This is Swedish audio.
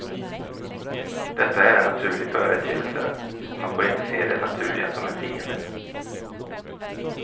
Detta är en naturlig företeelse och man får inte se det naturliga som en fiende.